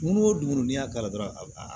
Mun o dugu n'i y'a kala dɔrɔn a b